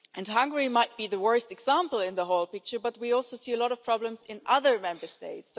Hungary might be the worst example in the whole picture, but we also see a lot of problems in other Member States.